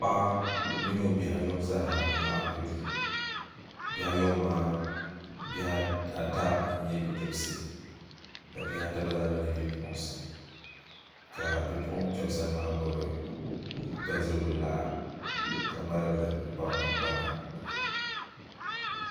Paɣa mini o bihi ayɔbu zaasa n-laɣim be duu bihi ayɔbu maa bihi ata n-nyɛ bidibisi ka bihi ata gba zaa mi nyɛ bipuɣinsi ka bipuɣinkpɛma sani maa gbubi bindirigu laa ka ŋmaligi li n-kpana